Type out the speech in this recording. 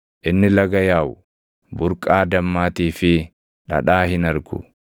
Inni laga yaaʼu, burqaa dammaatii fi dhadhaa hin argu.